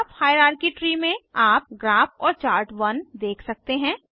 graph hierarchy tree में आप graph और चार्ट 1 देख सकते हैं